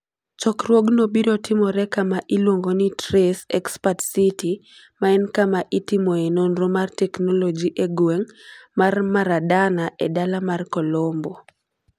Chokruogno biro timore kama iluongo ni TRACE Expert City, ma en kama itimoe nonro mar teknoloji e gweng ' mar Maradana e dala mar Colombo.